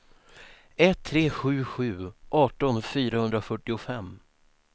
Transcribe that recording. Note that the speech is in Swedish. ett tre sju sju arton fyrahundrafyrtiofem